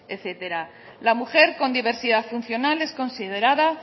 etcétera la mujer con diversidad funcional es considerada